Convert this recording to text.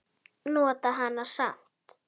Nota hana samt.